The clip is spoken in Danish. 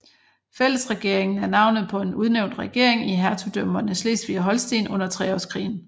Fællesregeringen er navnet på en udnævnt regering i hertugdømmerne Slesvig og Holsten under Treårskrigen